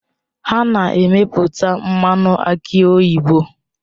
Ha na-emepụta mmanụ aki oyibo